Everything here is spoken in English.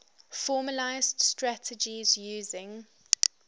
formalised strategies using